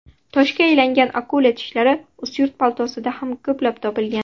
Toshga aylangan akula tishlari Ustyurt platosida ham ko‘plab topilgan.